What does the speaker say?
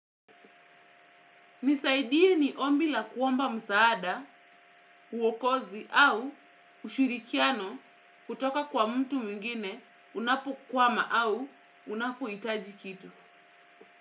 Nisaidie ni ombi la kuomba msaada, wokozi au ushirikiano kutoka kwa mtu mwingine unapokwama au unapohitaji kitu.